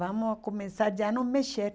Vamos começar já a nos mexer.